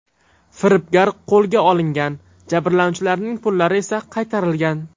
Firibgar qo‘lga olingan, jabrlanuvchilarning pullari esa qaytarilgan.